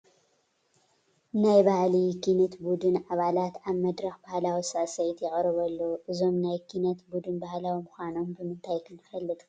ናይ ባህሊ ኪነት ቡድን ኣባላት ኣብ መድረኽ ባህላዊ ስዕስዒት የቕርቡ ኣለዉ፡፡ እዞም ናይ ኪነት ቡዱን ባህላዊ ምዃኖም ብምንታይ ክንፈልጥ ክኢልና?